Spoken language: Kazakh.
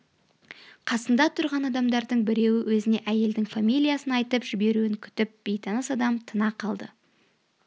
қасында тұрған адамдардың біреуі өзіне әйелдің фамилиясын айтып жіберуін күтіп бейтаныс адам тына қалды